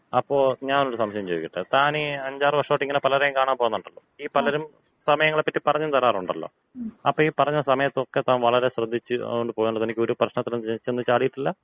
അപ്പോ ഞാനൊരു സംശയം ചോദിക്കട്ടെ. താനീ അഞ്ചാറ് വർഷായിട്ട് പലരെയും കാണാൻ പോകുന്നുണ്ടല്ലോ. ഈ പലരും സമയങ്ങളെപ്പറ്റി പറഞ്ഞും തരാറുണ്ടല്ലോ. അപ്പൊ ഈ പറഞ്ഞ സമയത്തൊക്കെ താൻ വളരെ ശ്രദ്ധിച്ച് പോയത് കൊണ്ട് തനിക്ക് ഒരു പ്രശ്നത്തിലും ചെന്ന് ചാടിയിട്ടില്ല?